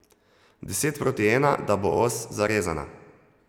Deset proti ena, da bo os zarezana.